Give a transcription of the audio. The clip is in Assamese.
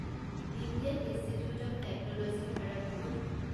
Indian Institute of Technology Kharagpur